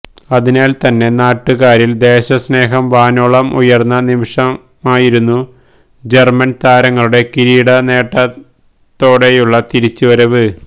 അതിനാല് തന്നെ നാട്ടുകാരില് ദേശസ്നേഹം വാനോളം ഉയരുന്ന നിമിഷമായിരുന്നു ജര്മന് താരങ്ങളുടെ കിരീട നേട്ടതോടെയുള്ള തിരിച്ചു വരവ്